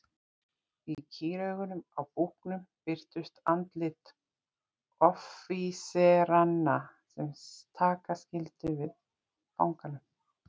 Í kýraugunum á búknum birtust andlit offíseranna sem taka skyldu við fanganum.